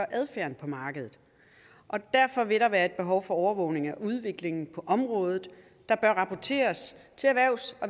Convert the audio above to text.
adfærden på markedet derfor vil der være et behov for overvågning af udviklingen på området der bør rapporteres til erhvervs